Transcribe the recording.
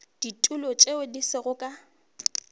ditulo tše di sego ka